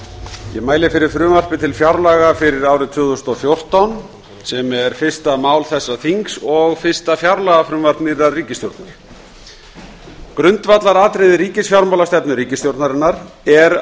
ég mæli fyrir frumvarpi til fjárlaga fyrir árið tvö þúsund og fjórtán sem er fyrsta mál þessa þings og fyrsta fjárlagafrumvarp nýrrar ríkisstjórnar grundvallaratriði ríkisfjármálastefnu ríkisstjórnarinnar er